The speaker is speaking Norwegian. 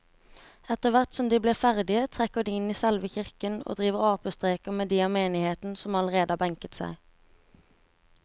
Etterthvert som de blir ferdige trekker de inn i selve kirken og driver apestreker med de av menigheten som allerede har benket seg.